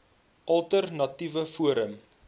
alter natiewe forum